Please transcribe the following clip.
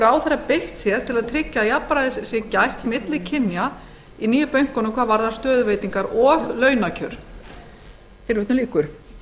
ráðherra beitt sér til þess að jafnræðis sé gætt milli kynja í nýju bönkunum hvaða varðar stöðuveitingar og launakjör tilvitnun lýkur